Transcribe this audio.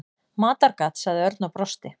Matargat sagði Örn og brosti.